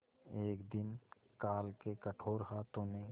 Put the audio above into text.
एक दिन काल के कठोर हाथों ने